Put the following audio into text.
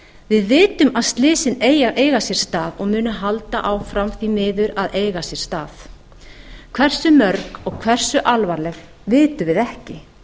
við vitum að slysin eiga sér stað og munu halda áfram því miður að eiga sér stað hversu mörg og hversu alvarleg vitum við ekki